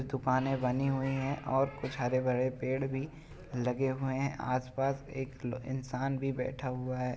दुकाने बनी हुई है और कुछ हरे भरे पेड़ भी लगे हुए हैं । आस पास एक इंसान भी बैठा हुआ है ।